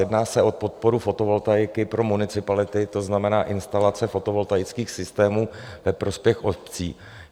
Jedná se o podporu fotovoltaiky pro municipality, to znamená instalace fotovoltaických systémů ve prospěch obcí.